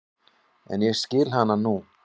En ég skil hana nú.